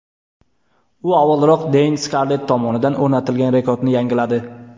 U avvalroq Deyn Skarlett tomonidan o‘rnatilgan rekordni yangiladi.